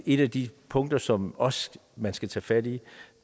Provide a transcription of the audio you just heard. et af de punkter som også skal tage fat i